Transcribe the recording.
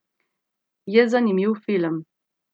Je zanimiv film.